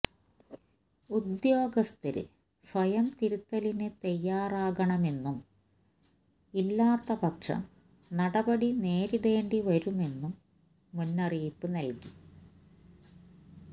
ഉദ്യോഗസ്ഥര് സ്വയം തിരുത്തലിനു തയ്യാറാകണമെന്നും ഇല്ലാത്ത പക്ഷം നടപടി നേരിടേണ്ടി വരുമെന്നും മുന്നറിയിപ്പ് നല്കി